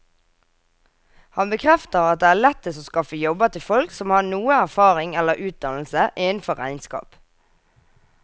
Han bekrefter at det er lettest å skaffe jobber til folk som har noe erfaring eller utdannelse innenfor regnskap.